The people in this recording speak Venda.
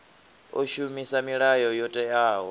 o shumisa milayo yo teaho